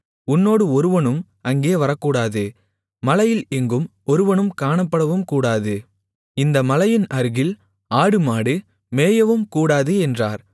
உன்னோடு ஒருவனும் அங்கே வரக்கூடாது மலையில் எங்கும் ஒருவனும் காணப்படவும்கூடாது இந்த மலையின் அருகில் ஆடுமாடு மேயவும்கூடாது என்றார்